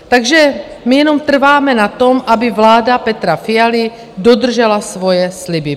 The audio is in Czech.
Takže my jenom trváme na tom, aby vláda Petra Fialy dodržela svoje sliby.